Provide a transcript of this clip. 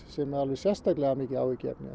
sem er sérstaklega mikið áhyggjuefni